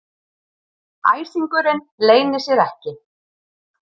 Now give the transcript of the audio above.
Æsingurinn leynir sér ekki.